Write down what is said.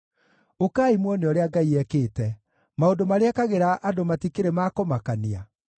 Ũkai muone ũrĩa Ngai ekĩte, maũndũ marĩa ekagĩra andũ matikĩrĩ ma kũmakania!